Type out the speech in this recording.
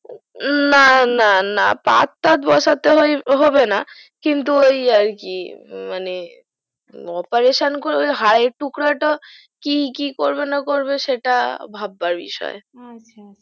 না না না পাথ সাথ বসাতে হবেনা কিন্তু ওই আরকি মানে operation করে হারের টুকরোটা কি করবে না করবে সেটা ভাববার বিষয় আচ্ছা